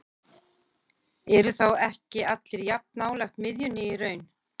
Eru þá ekki allir jafn nálægt miðjunni í raun?